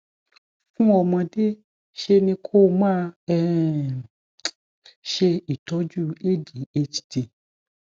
fún ọmọdé ṣe ni kó o máa um ṣe ìtọjú adhd